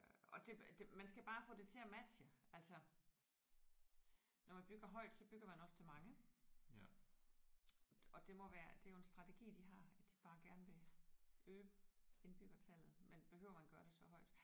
Og det det man skal bare få det til at matche. Altså når man bygger højt så bygger man også til mange og det må være det er jo en strategi de har at de bare gerne vil øge indbyggertallet. Men behøver man gøre det så højt?